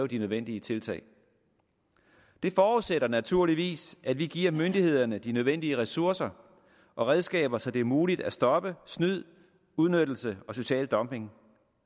de nødvendige tiltag det forudsætter naturligvis at vi giver myndighederne de nødvendige ressourcer og redskaber så det er muligt at stoppe snyd udnyttelse og social dumping